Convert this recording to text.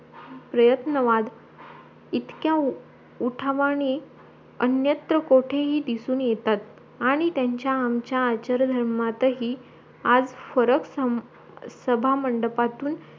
प्रयत्नवाद इतक्या उठवणी अन्यत्र कोठेही दिसून येतात आणी त्यांचा आमचा आचारधर्मातहि आज फरक सभामंडपातून